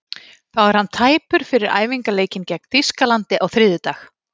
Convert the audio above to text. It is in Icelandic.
Þá er hann tæpur fyrir æfingaleikinn gegn Þýskalandi á þriðjudag.